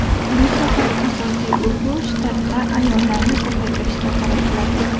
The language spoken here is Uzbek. Bu safar asosiy urg‘u shtatda ayollarni ko‘paytirishga qaratiladi.